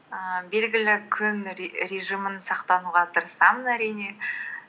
ііі белгілі күн режимін сақтануға тырысамын әрине